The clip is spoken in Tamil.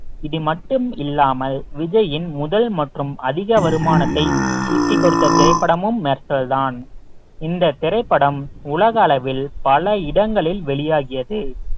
இது மட்டும் இல்லாமல் விஜயின் முதல் மற்றும் அதிக வருமானத்தை திரைப்படமும் மெர்சல்தான் இந்த திரைப்படம் உலக அளவில் பல இடங்களில் வெளியாகியது